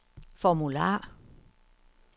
formular